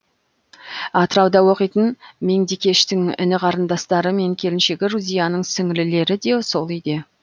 атырауда оқитын меңдекештің іні қарындастары мен келіншегі рузияның сіңлілері де сол үйде